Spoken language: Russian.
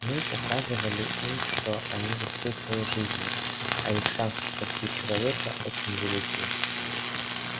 мы указывали им что они рискуют своей жизнью а их шансы спасти человека очень велики